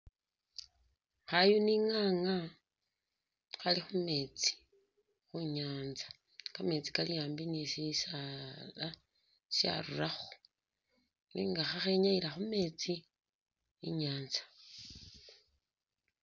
Khayuni nga'nga khali khumeetsi khunyanza, kameetsi kali ambi ni shisaala sharurakho nenga khakhenyayila khumeetsi inyatsa